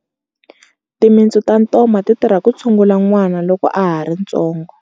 Timintsu ta ntoma ti tirha ku tshungula n'wana loko a ha ri ntsongo.